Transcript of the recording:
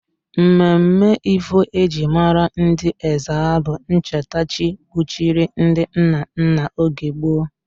Mmemme Ivo eji mara ndị Ezza bụ ncheta chi kpuchiri ndị nna nna oge gboo